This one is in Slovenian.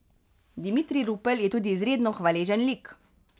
Dimitrij Rupel je tudi izredno hvaležen lik.